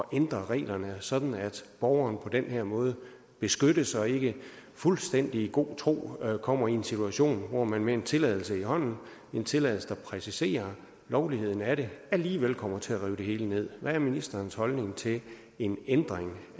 ændre reglerne sådan at borgeren på den her måde beskyttes og ikke i fuldstændig god tro kommer i en situation hvor man med en tilladelse i hånden en tilladelse der præciserer lovligheden af det alligevel kommer til at rive det hele ned hvad er ministerens holdning til en ændring